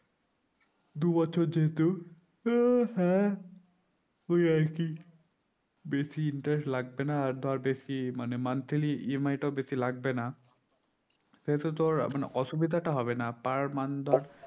দু বছর যেহেতু আহ হ্যাঁ ওই আরকি বেসি interest লাগবে না আর ধর বেশি মানে monthlyEMI টাও বেশি লাগবে না সেই তো তোর মানে অসুবিধা টা হবে না per month ধর